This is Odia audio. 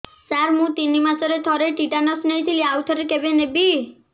ସାର ମୁଁ ତିନି ମାସରେ ଥରେ ଟିଟାନସ ନେଇଥିଲି ଆଉ ଥରେ କେବେ ନେବି